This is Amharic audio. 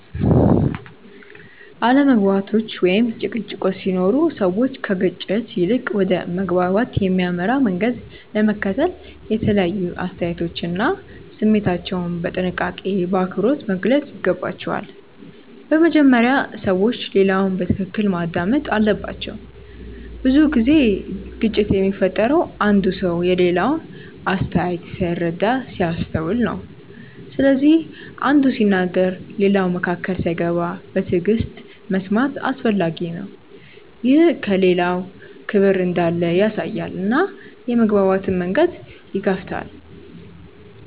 አለመግባባቶች ወይም ጭቅጭቆች ሲኖሩ ሰዎች ከግጭት ይልቅ ወደ መግባባት የሚያመራ መንገድ ለመከተል የተለያዩ አስተያየቶቻቸውን እና ስሜታቸውን በጥንቃቄና በአክብሮት መግለጽ ይገባቸዋል። በመጀመሪያ ሰዎች ሌላውን በትክክል ማዳመጥ አለባቸው። ብዙ ጊዜ ግጭት የሚፈጠረው አንዱ ሰው የሌላውን አስተያየት ሳይረዳ ሲያስተውል ነው። ስለዚህ አንዱ ሲናገር ሌላው መካከል ሳይገባ በትዕግሥት መስማት አስፈላጊ ነው። ይህ ለሌላው ክብር እንዳለ ያሳያል እና የመግባባት መንገድን ይከፍታል.